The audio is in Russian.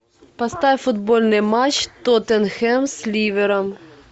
поставь футбольный матч тоттенхэм с ливером